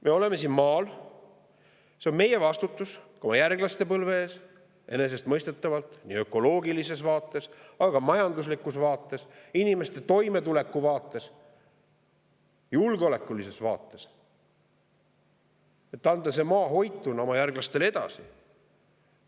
Me elame siin maal, see on meie vastutus ka järgmiste põlvede ees, enesestmõistetavalt ökoloogilises vaates, aga ka majanduslikus vaates, inimeste toimetuleku vaates, julgeolekulises vaates, et anda see maa hoituna oma järglastele edasi.